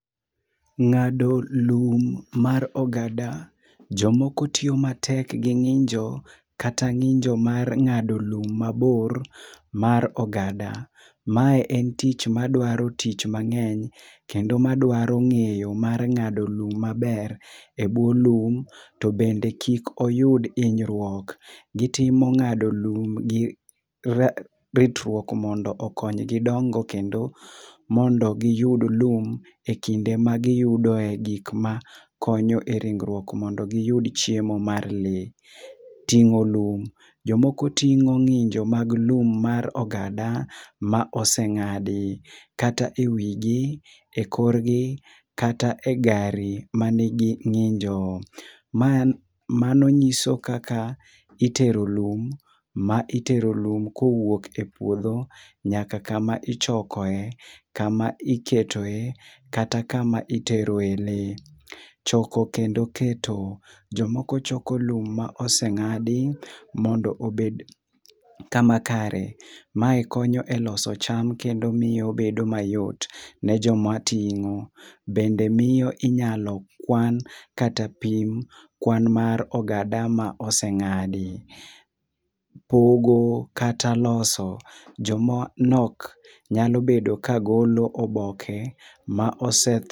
Ngado lum mar ogada jomoko tiyo matek gi nginjo ,kata nginjo mar ngado lum mabor mar ogada. Ma en tich madwaro tich mangeny kendo madwaro ngeyo mar ngado lum maber e buo lum kendo kik oyud hinyruok. Gitimo ngado lum gi ritruok mondo okonygi dongo kendo mondo giyud lum ekinde ma giyudo e kinde ma e gikma konyo e ringruok mondo giyud chiemo mar lee. Tingo lum, jomoko tingo nginjo mag lum mar ogada ma osengadi kata e wigi, e okorgi kata e gari manigi nginjo. Mano nyiso kaka itero lum, ma itero lum kowuok e puodho nyaka kama ichokoe, kama iketoe kata kama itore lee. Choko kendo keto. Jomoko choko lum ma osengadi mondo obed kama kare. Mae konyo e loso cham kendo miyo obedo mayot ne joma tingo ,bende miyo inyalo kwan kata pim kwan mar ogada ma osengadi. Pogo kata loso. Joma nok nyalo bedo ka golo oboke ma ose